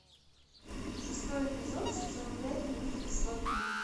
шестой эпизод сезон пять мультик сваты